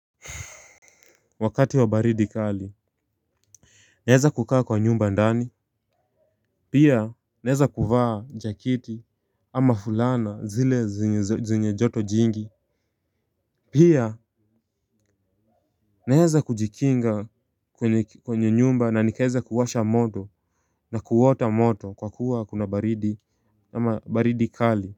Wakati wa baridi kali naeza kukaa kwa nyumba ndani. Pia naeza kuvaa jaketi ama fulana zile zenye joto jingi. Pia naeza kujikinga kwenye kwenye nyumba na nikaeza kuwasha moto na kuota moto kwa kuwa kuna baridi kali.